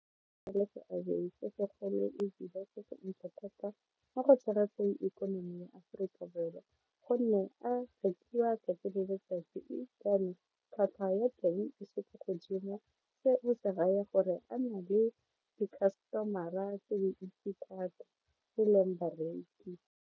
Nna le seabe se segolo ka go tshegetseng ikonomi ya Aforika Borwa go nne a fetiwa 'tsatsi le letsatsi tlhwatlhwa ya teng e se ko godimo se se raya gore a na le di-customer-a tse dintsi thata e leng bareki.